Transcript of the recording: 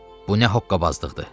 Bu nə hoqqabazlıqdır?